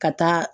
Ka taa